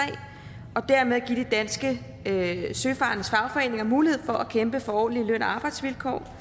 og dermed give de danske søfarendes fagforeninger mulighed for at kæmpe for ordentlige løn og arbejdsvilkår